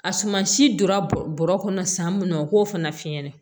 A sumasi donna bɔɔrɔ kɔnɔ san mun na o k'o fana fiɲɛnɛ